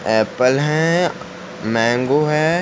Apple है mango है।